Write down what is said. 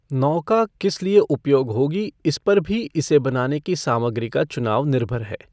नौका किस लिए उपयोग होगी इस पर भी इसे बनाने की सामग्री का चुनाव निर्भर है।